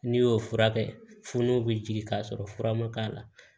N'i y'o fura kɛ fuu bɛ jigin ka sɔrɔ fura ma k'a la